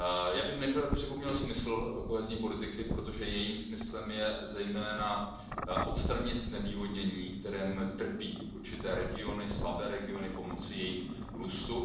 Já bych nejprve připomněl smysl kohézní politiky, protože jejím smyslem je zejména odstranit znevýhodnění, kterým trpí určité regiony, slabé regiony, a pomoci jejich růstu.